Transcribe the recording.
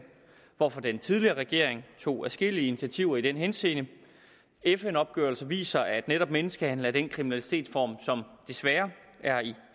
hvorfor den tidligere regering tog adskillige initiativer i den henseende en fn opgørelse viser at netop menneskehandel er den kriminalitetsform som desværre er i